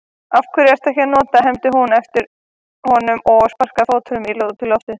Af hverju ekki að nota, hermdi hún eftir honum og sparkaði fótunum út í loftið.